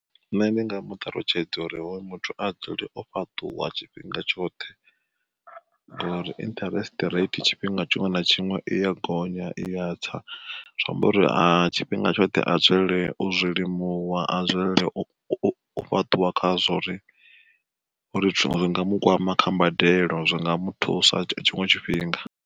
Nṋe ndi nga mu ṱalutshedza uri hoyu muthu a dzule o fhaṱuwa tshifhinga tshoṱhe, ngori interest rate tshifhinga tshiṅwe na tshiṅwe i ya gonya iya tsa, zwi amba uri a tshifhinga tshoṱhe a dzulele u zwilimuwa a dzulele u fhaṱuwa khazwo uri zwi nga mu kwama kha mbadelo zwi nga muthusa tshiṅwe tshifhinga.